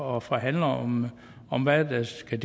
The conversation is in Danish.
og forhandler om om hvad det skal